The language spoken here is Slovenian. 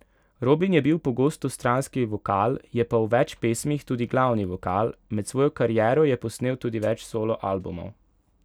Robin je bil pogosto stranski vokal, je pa v več pesmih tudi glavni vokal, med svojo kariero je posnel tudi več solo albumov.